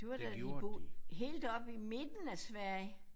Det var da de bo helt oppe i midten af Sverige